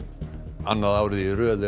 annað árið í röð er